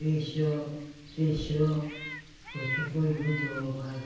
Fechou, fechou, porque foi muito roubada.